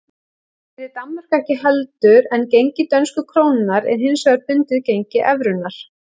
Það gerir Danmörk ekki heldur en gengi dönsku krónunnar er hins vegar bundið gengi evrunnar.